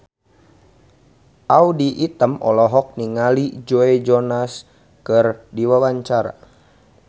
Audy Item olohok ningali Joe Jonas keur diwawancara